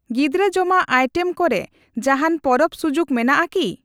ᱜᱤᱫᱽᱨᱟᱹ ᱡᱚᱢᱟᱜ ᱟᱭᱴᱮᱢ ᱠᱚ ᱨᱮ ᱡᱟᱦᱟᱸᱱ ᱯᱚᱨᱚᱵᱽ ᱥᱩᱡᱩᱠ ᱢᱮᱱᱟᱜ ᱟᱠᱤ?